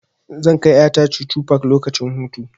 Zan kai ƴa ta chuchu park lokacin hutu.